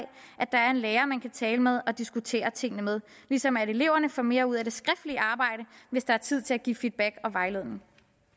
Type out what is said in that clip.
at der er en lærer man kan tale med og diskutere tingene med ligesom eleverne får mere ud af det skriftlige arbejde hvis der er tid til at give feedback og vejledning